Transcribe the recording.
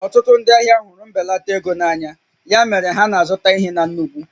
Ọtụtụ ndị ahịa hụrụ mbelata ego na anya, ya mere ha na-azụta ihe na nnukwu